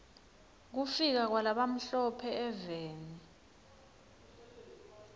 kufika kwala bamhlo phe eveni